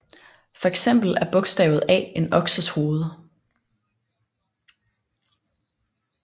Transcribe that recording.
For eksempel er bogstavet A en okses hoved